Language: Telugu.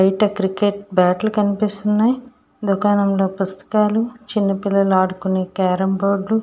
క్రికెట్ బ్యాట్లు కనిపిస్తున్నాయి. దుకాణంలో పసుపు తాళ్లు చిన్న పిల్లలు ఆడుకునే కారం బోర్డు లు--